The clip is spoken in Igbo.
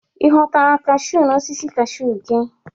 Ị ghọtara kaashu na osisi kaashu gị?